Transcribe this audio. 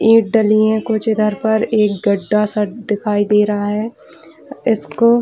ये डलियाँ कुछ इधर पर एक गड्ढा-सा दिखाई दे रहा है इसको --